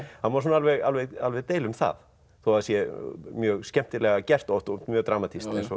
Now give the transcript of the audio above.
það má svona alveg alveg alveg deila um það þó það sé mjög skemmtilega gert oft og mjög dramatískt eins og